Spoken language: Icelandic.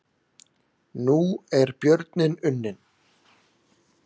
Nú er björninn unninn